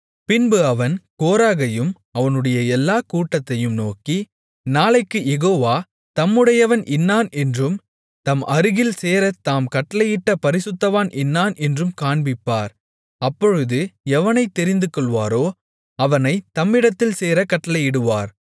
பின்பு அவன் கோராகையும் அவனுடைய எல்லாக் கூட்டத்தையும் நோக்கி நாளைக்குக் யெகோவா தம்முடையவன் இன்னான் என்றும் தம் அருகில் சேரத் தாம் கட்டளையிட்ட பரிசுத்தவான் இன்னான் என்றும் காண்பிப்பார் அப்பொழுது எவனைத் தெரிந்துகொள்வாரோ அவனைத் தம்மிடத்தில் சேரக் கட்டளையிடுவார்